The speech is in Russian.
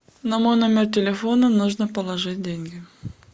на мой номер телефона нужно положить деньги